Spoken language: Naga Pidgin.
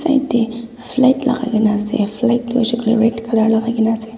yati flag lagai kina ase flag toh hoishe koileto red colour lagai kina ase.